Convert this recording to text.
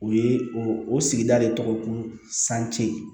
O ye o sigida de tɔgɔ ye ko sanji ye